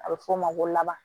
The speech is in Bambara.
A bɛ f'o ma ko laban